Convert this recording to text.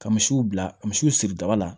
Ka misiw bila ka misiw siri daga la